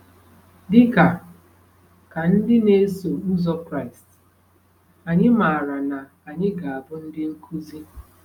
Dị ka ka ndị na-eso ụzọ Kraịst, anyị maara na anyị ga-abụ ndị nkuzi.